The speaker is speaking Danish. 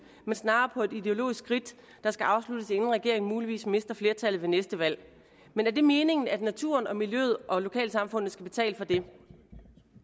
men snarere på et ideologisk ridt der skal afsluttes inden regeringen muligvis mister flertallet ved næste valg men er det meningen at naturen og miljøet og lokalsamfundet skal betale for det hvis ikke det